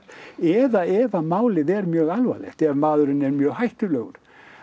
eða ef að málið er mjög alvarlegt ef maðurinn er mjög hættulegur